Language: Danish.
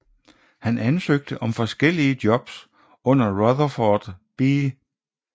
Han ansøgte om forskellige jobs under Rutherford B